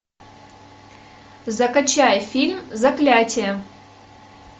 закачай фильм заклятие